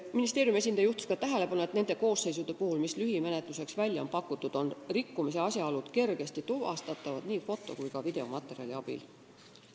Ministeeriumi esindaja juhtis tähelepanu ka sellele, et nende koosseisude puhul, mis lühimenetluseks välja on pakutud, on rikkumise asjaolud kergesti tuvastatavad nii foto- kui ka videomaterjali abil.